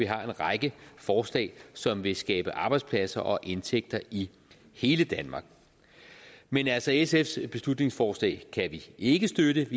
har en række forslag som vil skabe arbejdspladser og indtægter i hele danmark men altså sfs beslutningsforslag kan vi ikke støtte